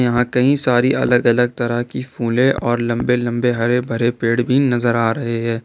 यहां कई सारी अलग अलग तरह की फूले और लंबे लंबे हरे भरे पेड़ भी नजर आ रहे हैं।